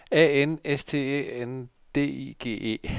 A N S T Æ N D I G E